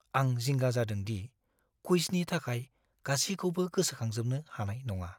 आं जिंगा जादों दि क्वुइजनि थाखाय गासिखौबो गोसोखांजोबनो हानाय नङा।